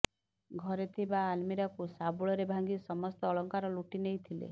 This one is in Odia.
ଘରେ ଥିବା ଆଲମିରାକୁ ଶାବୁଳରେ ଭାଙ୍ଗି ସମସ୍ତ ଅଳଙ୍କାର ଲୁଟି ନେଇଥିଲେ